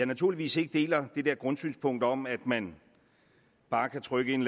naturligvis ikke deler det der grundsynspunkt om at man bare kan trykke en